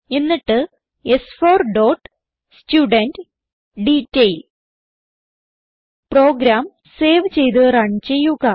എന്നിട്ട് സ്4 dot student detail program save ചെയ്ത് റൺ ചെയ്യുക